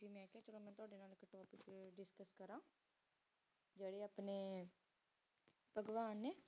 ਜੇਰੀ ਅਪਨੀ ਪਾਗ੍ਵ੍ਹਾਂ